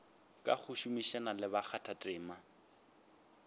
ka go šomišana le bakgathatema